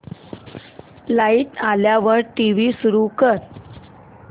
light आल्यावर TV सुरू कर